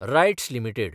rights limited